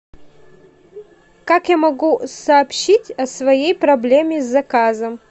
как я могу сообщить о своей проблеме с заказом